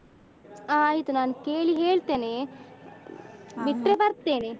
ಹ ಆಯ್ತು ನಾನು ಕೇಳಿ ಹೇಳ್ತೇನೆ ಬಿಟ್ರೆ ಬರ್ತೇನೆ.